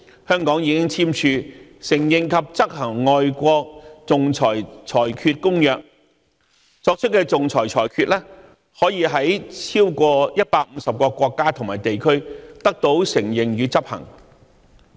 香港已經簽署《承認及執行外國仲裁裁決公約》，作出的仲裁裁決可以在超過150個國家和地區得到承認與執行。